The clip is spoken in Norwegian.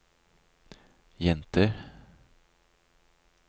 jenter